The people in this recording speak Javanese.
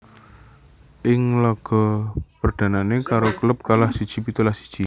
Ing laga perdhanané karo klub kalah pitulas siji